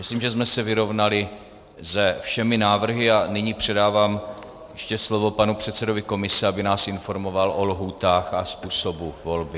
Myslím, že jsme se vyrovnali se všemi návrhy, a nyní předávám ještě slovo panu předsedovi komise, aby nás informoval o lhůtách a způsobu volby.